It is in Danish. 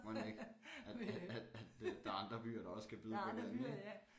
Mon ikke at at at at øh der er andre byer der også kan byde på noget ik